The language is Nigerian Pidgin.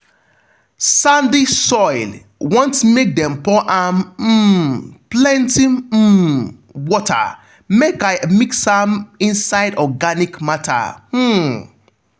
sandy soil want make dem dem pour am um plenty um water make i mix am inside organic matter. um